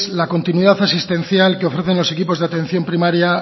la continuidad asistencial que ofrecen los equipos de atención primaria